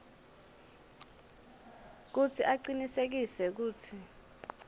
kutsi acinisekise kutsi